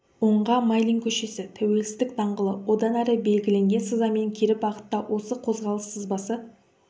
оңға майлин көшесі тәуелсіздік даңғылы одан әрі белгіленген сызамен кері бағытта осы қозғалыс сызбасы